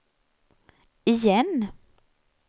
igen